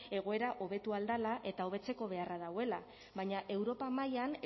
egoera hobetu ahal dela eta hobetzeko beharra dagoela baina europa mailan